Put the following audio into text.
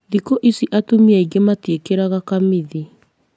Thikũ ici atumia aingĩ matiĩkĩraga kamithi